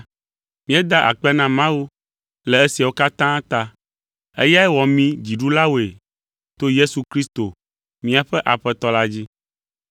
Míeda akpe na Mawu le esiawo katã ta! Eyae wɔ mí dziɖulawoe to Yesu Kristo míaƒe Aƒetɔ la dzi!